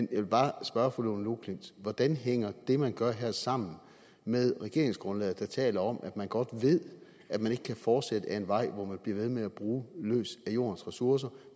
jeg vil bare spørge fru lone loklindt hvordan hænger det man gør her sammen med regeringsgrundlaget der taler om at man godt ved at man ikke kan fortsætte ad en vej hvor man bliver ved med at bruge løs af jordens ressourcer og at